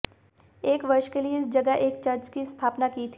एक वर्ष के लिए इस जगह एक चर्च की स्थापना की थी